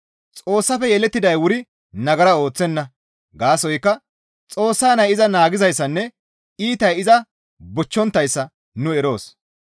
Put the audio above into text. Xoossafe yelettiday wuri nagara ooththenna; gaasoykka Xoossa Nay iza naagizayssanne iitay iza bochchonttayssa nu eroos.